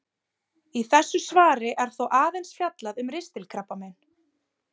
Í þessu svari er þó aðeins fjallað um ristilkrabbamein.